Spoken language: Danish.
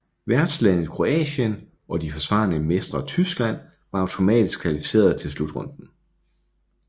Værtslandet Kroatien og de forsvarende mestre Tyskland var automatisk kvalificeret til slutrunden